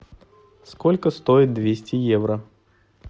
сколько стоит двести евро